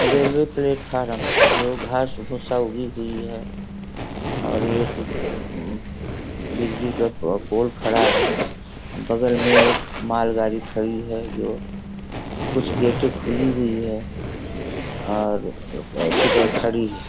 अ railway platform है जो घास-घुसाओगी के लिए है और अमम बिजली का खड़ा है बगल मे एक माल गाड़ी खड़ी है जो कुछ गेटे खुली हुई है और खड़ी है।